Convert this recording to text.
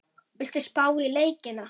Viltu spá í leikina?